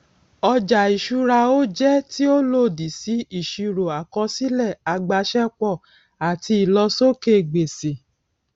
ọjà ìṣúra ó jẹ tí ó lòdì sí ìsirò àkọsílẹ agbasẹpọ àti ìlósókè gbèsè